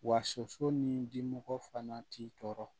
Wa soso ni dimɔgɔ fana t'i tɔɔrɔ